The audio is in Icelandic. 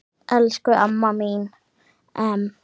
Elsku amma mín Em.